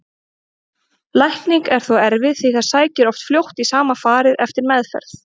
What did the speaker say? Lækning er þó erfið því það sækir oft fljótt í sama farið eftir meðferð.